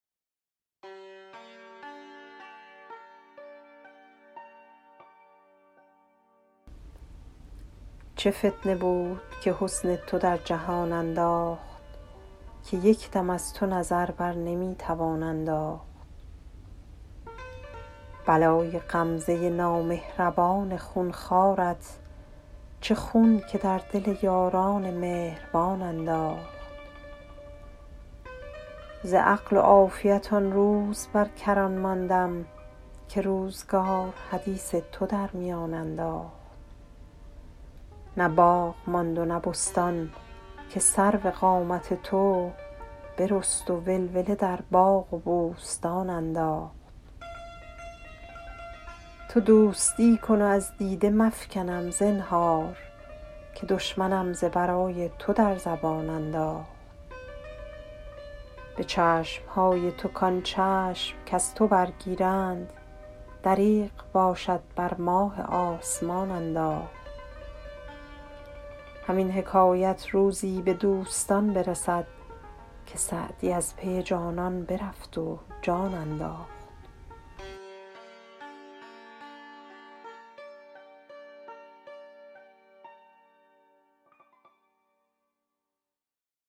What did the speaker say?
چه فتنه بود که حسن تو در جهان انداخت که یک دم از تو نظر بر نمی توان انداخت بلای غمزه نامهربان خون خوارت چه خون که در دل یاران مهربان انداخت ز عقل و عافیت آن روز بر کران ماندم که روزگار حدیث تو در میان انداخت نه باغ ماند و نه بستان که سرو قامت تو برست و ولوله در باغ و بوستان انداخت تو دوستی کن و از دیده مفکنم زنهار که دشمنم ز برای تو در زبان انداخت به چشم های تو کان چشم کز تو برگیرند دریغ باشد بر ماه آسمان انداخت همین حکایت روزی به دوستان برسد که سعدی از پی جانان برفت و جان انداخت